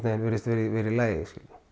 virðist vera í vera í lagi